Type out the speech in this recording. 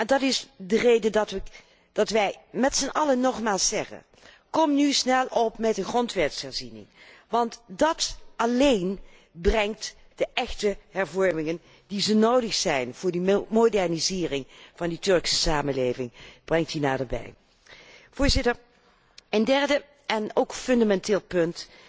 Dat is de reden dat wij met zijn allen nogmaals zeggen kom nu snel met een grondwetsherziening, want dat alleen brengt de echte hervormingen die zo nodig zijn voor die modernisering van de Turkse samenleving, naderbij. Voorzitter, een derde en ook fundamenteel punt